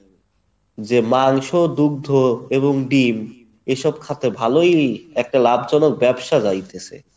যে মাংস দুগ্ধ এবং ডিম এসব খাতে ভালোই একটা লাভজনক ব্যবসা যাইতেছে